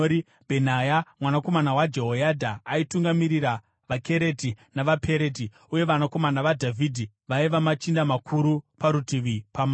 Bhenaya mwanakomana waJehoyadha aitungamirira vaKereti navaPereti; uye vanakomana vaDhavhidhi vaiva machinda makuru parutivi pamambo.